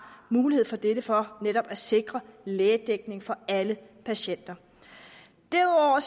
mulighed for dette for netop at sikre lægedækning for alle patienter derudover